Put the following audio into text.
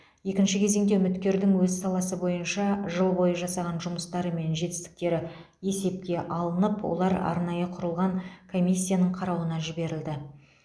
екінші кезеңде үміткердің өз саласы бойынша жыл бойы жасаған жұмыстары мен жетістіктері есепке алынып олар арнайы құрылған комиссияның қарауына жіберілді